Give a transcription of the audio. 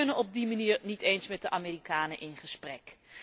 We kunnen op die manier niet eens met de Amerikanen in gesprek.